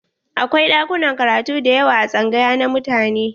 Akwai ɗakunan karatu dayawa a tsangaya na mutane.